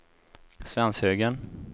Svenshögen